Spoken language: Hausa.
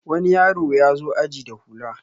wani yaro ya zo aji da hula